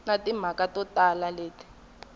na timhaka to tala leti